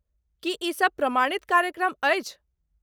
की ई सब प्रमाणित कार्यक्रम अछि?